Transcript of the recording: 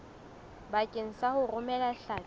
bakeng sa ho romela hlapi